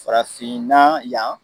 Farafinna yan